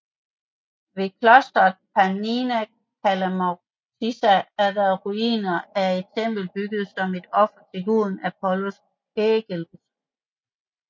Ved klostret Panagia Kalamiotissa er der ruiner af et tempel bygget som et offer til guden Apollo Aegletus